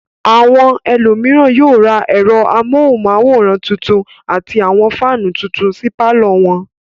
Àwọn ẹlòmíràn yóò ra ẹ̀rọ amóhùmáwòhán tuntun àti àwọn fáánù tuntub sí pálọ̀ wọn.